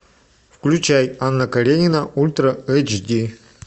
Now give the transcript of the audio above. включай анна каренина ультра эйч ди